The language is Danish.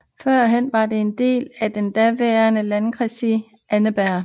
Førhen var den en del af den daværende Landkreis Annaberg